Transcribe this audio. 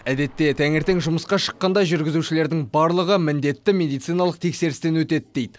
әдетте таңертең жұмысқа шыққанда жүргізушілердің барлығы міндетті медициналық тексерістен өтеді дейді